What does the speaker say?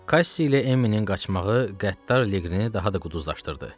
Kassi ilə Emminin qaçmağı qəddar Liqrini daha da qudurlaşdırdı.